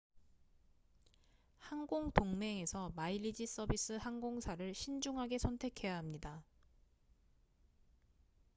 항공 동맹에서 마일리지 서비스 항공사를 신중하게 선택해야 합니다